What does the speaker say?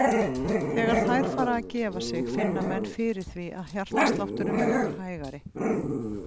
Þegar þær fara að gefa sig finna menn fyrir því að hjartslátturinn verður hægari.